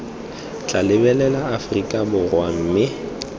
tla lebelela aforika borwa mme